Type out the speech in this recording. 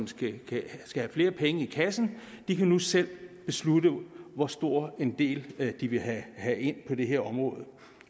skal have flere penge i kassen kan nu selv beslutte hvor stor en del de vil have have ind på det her område